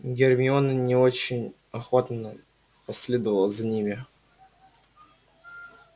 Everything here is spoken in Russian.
гермиона не очень охотно последовала за ними